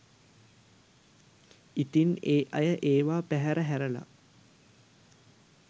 ඉතින් ඒ අය ඒවා පැහැර හැරලා